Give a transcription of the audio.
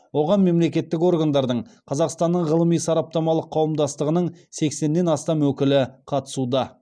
оған мемлекеттік органдардың қазақстанның ғылыми сараптамалық қауымдастығының сексеннен астам өкілі қатысуда